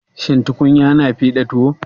Shin tukunya na fiɗa tuwo?